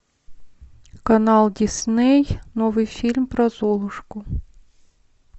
канал дисней новый фильм про золушку